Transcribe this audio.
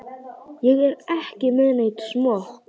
Ég er ekki með neinn smokk.